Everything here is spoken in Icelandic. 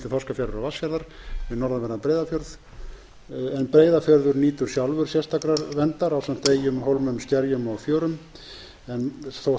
þorskafjarðar og vatnsfjarðar við norðanverðan breiðafjörð en breiðafjörður nýtur sjálfur sérstakrar verndar ásamt eyjum hólmum skerjum og fjörum þótt menn